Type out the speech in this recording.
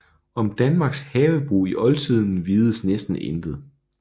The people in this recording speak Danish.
Om Danmarks havebrug i Oldtiden vides næsten intet